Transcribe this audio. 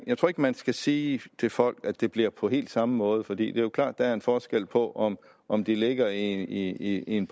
jeg tror ikke man skal sige til folk at det bliver på helt samme måde for det er klart at der er en forskel på om om de ligger i en